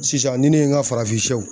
Sisan ni ne ye n ka farafinsiyɛw